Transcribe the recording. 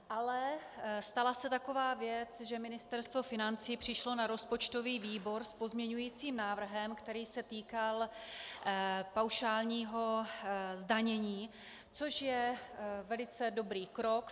Ale stala se taková věc, že Ministerstvo financí přišlo na rozpočtový výbor s pozměňovacím návrhem, který se týkal paušálního zdanění, což je velice dobrý krok.